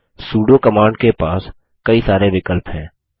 pseudo command के पास कई सारे विकल्प हैं